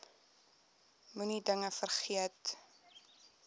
moenie dinge vergeet